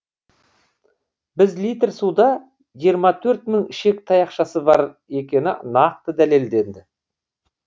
біз литр суда жиырма төрт мың ішек таяқшасы бар екені нақты дәлелденді